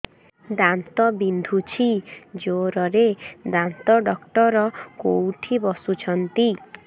ଦାନ୍ତ ବିନ୍ଧୁଛି ଜୋରରେ ଦାନ୍ତ ଡକ୍ଟର କୋଉଠି ବସୁଛନ୍ତି